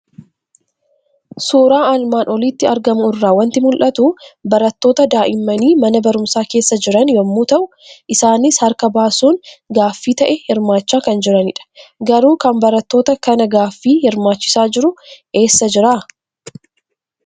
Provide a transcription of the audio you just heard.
Suuraa armaan olitti argamu irraa waanti mul'atu; barattoota daa'immaani mana barumsaa keessa jiran yommuu ta'u, isaanis harka baasuun gaaffi ta'ee hirmaachaa kan jiranidha. Garuu kan barattoota kana gaaffi hirmaachisaa jiru eessa jiraa?